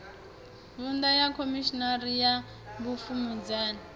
vuṅdu ya khomishini ya vhupfumedzani